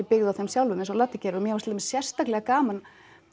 byggð á þeim sjálfum eins og Laddi gerir og mér fannst sérstaklega gaman